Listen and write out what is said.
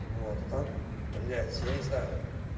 вот а так блять я не знаю